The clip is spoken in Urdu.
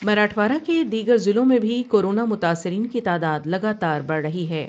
مراٹھواڑہ کے دیگر ضلعوں میں بھی کورونا متاثرین کی تعداد لگا تار بڑھ رہی ہے ۔